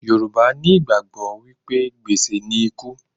Yorùbá nigbàgbọ́ wípé gbèsè ni ikú.